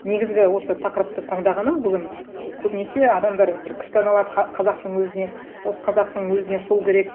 негізгі осы тақырыпты таңдағаным бүгін көбінесе адамдар бір күстаналап қазақтың өзіне осы қазақтың өзіне сол керек